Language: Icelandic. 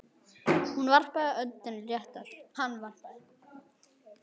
Hann varpaði öndinni léttar.